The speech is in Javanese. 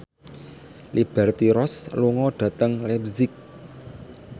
Liberty Ross lunga dhateng leipzig